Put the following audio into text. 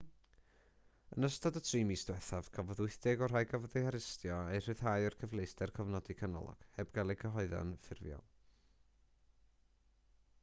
yn ystod y 3 mis diwethaf cafodd 80 o'r rhai gafodd eu harestio eu rhyddhau o'r cyfleuster cofnodi canolog heb gael eu cyhuddo'n ffurfiol